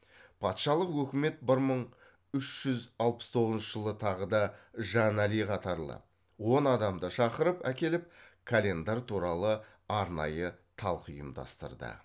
патшалық өкімет бір мың үш жүз алпыс тоғызыншы жылы тағы да жанали қатарлы он адамды шақырып әкеліп календар туралы арнайы талқы ұйымдастырды